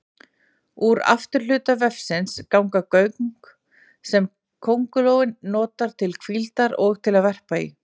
Úr afturhluta vefsins ganga göng sem köngulóin notar til hvíldar og til að verpa í.